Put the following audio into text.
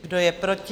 Kdo je proti?